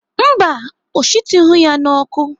Mba, ọ shitughị ya n'ọkụ.